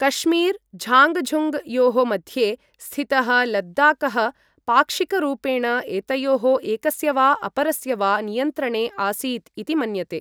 Kashmir Zhangzhung योः मध्ये स्थितः लद्दाखः पाक्षिकरूपेण एतयोः एकस्य वा अपरस्य वा नियन्त्रणे आसीत् इति मन्यते।